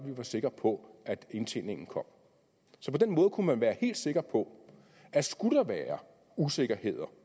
vi var sikre på at indtjeningen kom så på den måde kunne man være helt sikker på at skulle der være usikkerheder